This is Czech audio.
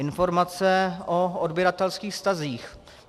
Informace o odběratelských vztazích.